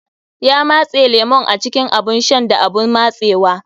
Ya matse lemun a cikin abun shan da abun matsewa.